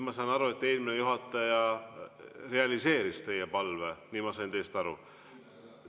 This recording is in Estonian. Ma saan aru, et eelmine juhataja realiseeris teie palve, ma sain teist aru.